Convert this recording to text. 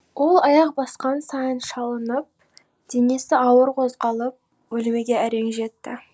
ол аяқ басқан сайын шалынып денесі ауыр қозғалып бөлмеге әрең жетті